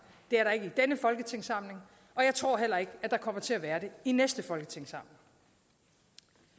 det er der ikke i denne folketingssamling og jeg tror heller ikke at der kommer til at være det i næste folketingssamling